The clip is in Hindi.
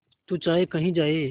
तू चाहे कही जाए